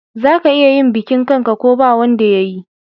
Za ka iya yin bikin kan'ka ko ba wanda yayi